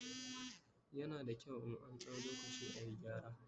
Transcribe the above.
yana da kyau in an dau lokaci ayi gyara